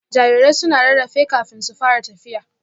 Jarirai suna rarrafe kafin su fara tafiya